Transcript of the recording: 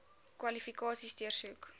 kwalifikasies deursoek